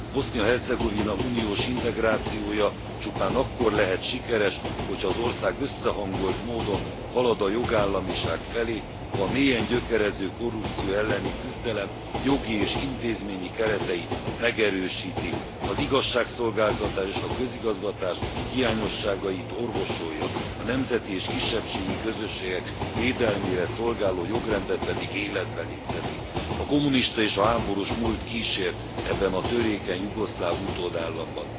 Bosznia Hercegovina uniós integrációja csupán akkor lehet sikeres, hogyha az ország összehangolt módon halad a jogállamiság felé, ha a mélyen gyökerező korrupció elleni küzdelem jogi és intézményi kereteit megerősíti, az igazságszolgáltatás és a közigazgatás hiányosságait orvosolja, a nemzeti és kisebbségi közösségek védelmére szolgáló jogrendet pedig életbe lépteti. A kommunista és a háborús múlt kísért ebben a törékeny jugoszláv utódállamban.